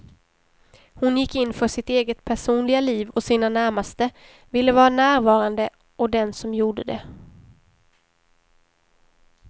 Hon gick in för sitt eget personliga liv och sina närmaste, ville vara närvarande och den som gjorde det.